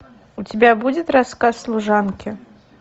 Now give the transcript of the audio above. у тебя будет рассказ служанки